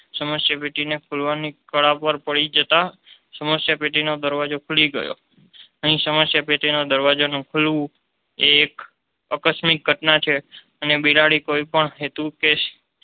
સમસ્યા પેટીને ખોલવાની કાળા પાર પડી જતા સમસ્યા પેટીનો દરવાજો ખુલી ગયો અહીં સમસ્યા પેટીનો દરવાજો ખોલવું એ એક આકસ્મિક ઘટના છે અને બિલાડી કોઈ પણ હેતુ કે